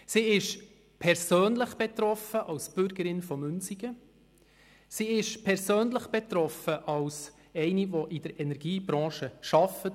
Sie ist persönlich betroffen, sowohl als Bürgerin von Münsingen als auch als eine Frau, die in der Energiebranche arbeitet.